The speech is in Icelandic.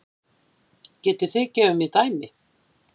Getið þið gefið mér dæmi?